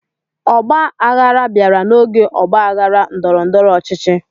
Ọgba aghara bịara n'oge ọgba aghara ndọrọ-ndọrọ ọchịchị.